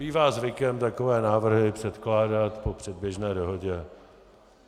Bývá zvykem takové návrhy předkládat po předběžné dohodě.